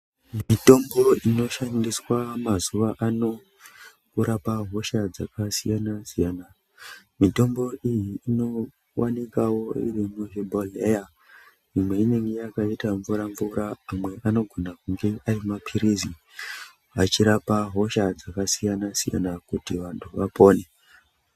Mitombo inoshandiswa mazuva ano inorapa hosha dzakasiyana siyana, mitombo iyi inowanikwawo iri muzvibhodhleya imwe yakaita mvura mvura amwe anogona kunge ari mapiritsi achirapa hosha dzakasiyana siyana kuti vantu vapone.